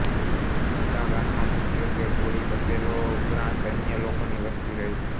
ઉમરા ગામમાં મુખ્યત્વે કોળી પટેલો ઉપરાંત અન્ય લોકોની વસ્તી રહે છે